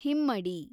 ಹಿಮ್ಮಡಿ